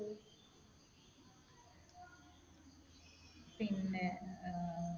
പിന്നെ ഏർ